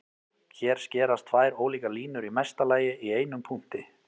Hér skerast tvær ólíkar línur í mesta lagi í einum punkti.